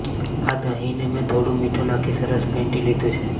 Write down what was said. આ દહીં ને મેં થોડું મીઠું નાખી સરસ ફેંટી લીધું છે